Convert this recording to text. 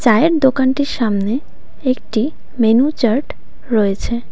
চায়ের দোকানটির সামনে একটি মেনু চার্ট রয়েছে.